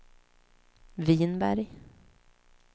Vinberg